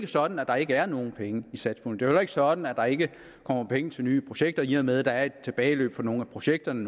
sådan at der ikke er nogen penge i satspuljen er jo ikke sådan at der ikke kommer penge til nye projekter i og med at der er et tilbageløb fra nogle af projekterne